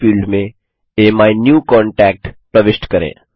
search field में my new contact प्रविष्ट करें